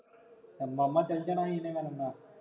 ਓ ਮਾਮਾ ਚੱਲ ਜਾਣਾ ਮੇਰਾ ਬੰਦਾ